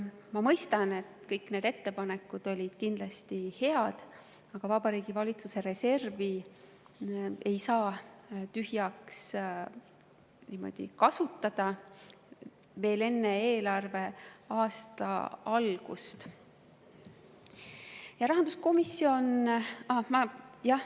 Ma mõistan, et kõik need ettepanekud olid kindlasti head, aga Vabariigi Valitsuse reservi ei saa tühjaks kasutada veel enne eelarveaasta algust.